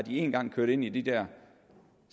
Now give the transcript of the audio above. én gang kørt ind i de dér